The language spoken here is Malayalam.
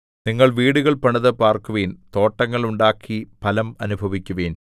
നിങ്ങൾ വീടുകൾ പണിതു പാർക്കുവിൻ തോട്ടങ്ങൾ ഉണ്ടാക്കി ഫലം അനുഭവിക്കുവിൻ